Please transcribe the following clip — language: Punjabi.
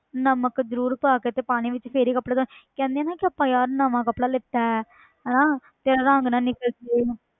ਨਮਕ ਜ਼ਰੂਰ ਪਾ ਕੇ ਤੇ ਪਾਣੀ ਵਿੱਚ ਫਿਰ ਹੀ ਕੱਪੜੇ ਧੌਣੇ ਕਹਿੰਦੇ ਆਂ ਨਾ ਕਿ ਆਪਾਂ ਯਾਰ ਨਵਾਂ ਕੱਪੜਾ ਲਿੱਤਾ ਹੈ ਹਨਾ ਤੇ ਰੰਗ ਨਾ ਨਿਕਲ ਜਾਏ